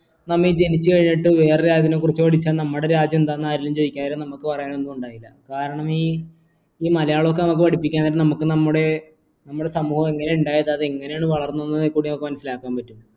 നമ്മ ജനിച്ചു കഴിഞ്ഞിട്ട് വേറെ രാജ്യത്തെ കുറിച്ച് പഠിച്ച നമ്മുടെ രാജ്യം എന്താണെന്ന് ആരെങ്കിലും ചോദിച്ച നമുക്ക് പറയാൻ ഒന്നും ഉണ്ടാവില്ല കാരണം ഈ മലയാളം ഒക്കെ നമുക്ക് പഠിപ്പിക്കാൻ ഉണ്ടെങ്കിൽ നമുക്ക് നമ്മുടെ സമൂഹം എങ്ങനെയുണ്ടായ എങ്ങനെയാണ് വളർന്നത് ഇതിൽ കൂടെ മനസ്സിലാക്കാൻ പറ്റും